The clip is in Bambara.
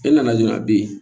E nana dɔrɔn a be yen